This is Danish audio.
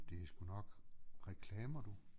Det sgu nok reklamer du